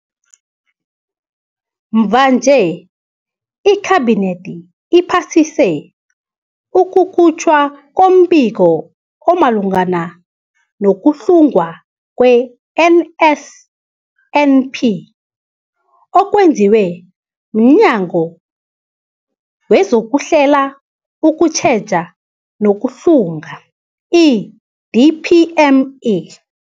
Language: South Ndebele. Mvanje, iKhabinethi iphasise ukukhutjhwa kombiko omalungana nokuhlungwa kwe-NSNP okwenziwe mNyango wezokuHlela, ukuTjheja nokuHlunga, i-DPME.